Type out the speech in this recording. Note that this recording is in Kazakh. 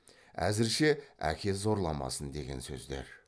әзірше әке зорламасын деген сөздер